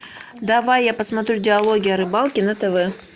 давай я посмотрю диалоги о рыбалке на тв